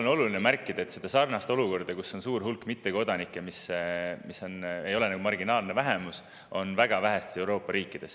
On oluline märkida, et sellist olukorda, kus on suur hulk mittekodanikke, mis ei ole marginaalne vähemus, on väga vähestes Euroopa riikides.